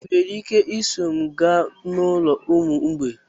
Ị nwere ike iso m gaa n'ụlọ ụmụ mgbei?